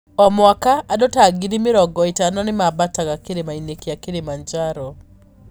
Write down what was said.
O mwaka, andũ ta ngiri mĩrongo ĩtano nĩ maambataga Kĩrĩma-inĩ kĩa Kirimanjaro.